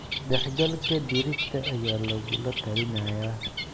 Dhexgalka digirta ayaa lagula talinayaa.